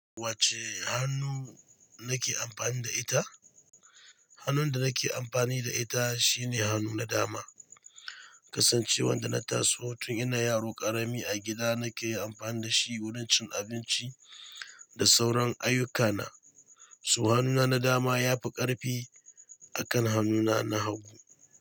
Wace hannu nake amfani da ita? Hannun da nake amfani da ita shine hannu na dama, kasancewar da na taso tun ina yaro ƙarami a gida nake amfani dashi wurin cin abinci da sauran ayyukana, so hannuna na dama yafi ƙarfi akan hannuna na hagu.